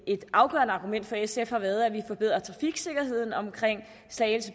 et afgørende argument for sf har været at vi forbedrer trafiksikkerheden omkring slagelse